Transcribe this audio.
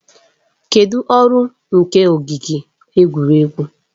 Kedụ ọrụ nke ogige egwuregwu?